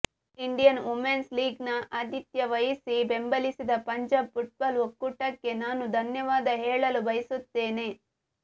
Indian women's league ನ ಆತಿಥ್ಯ ವಹಿಸಿ ಬೆಂಬಲಿಸಿದ ಪಂಜಾಬ್ ಫುಟ್ಬಾಲ್ ಒಕ್ಕೂಟಕ್ಕೆ ನಾನು ಧನ್ಯವಾದ ಹೇಳಲು ಬಯಸುತ್ತೇನೆ